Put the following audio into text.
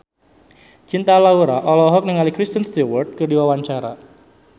Cinta Laura olohok ningali Kristen Stewart keur diwawancara